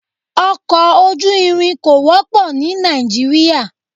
Ọkọ ojú irin kò wọ́pọ̀ ní Nàìjíríà.